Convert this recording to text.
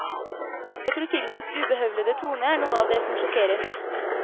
Jeg tror filmens ubehøvlede tone er noe av det som sjokkerer mest.